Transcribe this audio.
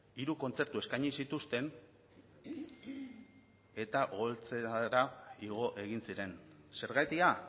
hiru kontzertu eskaini zituzten eta igo egin ziren zergatia